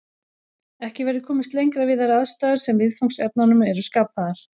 Ekki verður komist lengra við þær aðstæður sem viðfangsefnunum eru skapaðar.